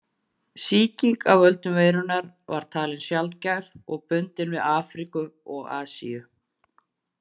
Sýking af völdum veirunnar var talin sjaldgæf og bundin við Afríku og Asíu.